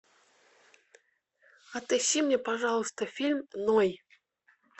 отыщи мне пожалуйста фильм ной